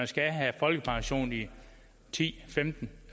skal have folkepension i ti femten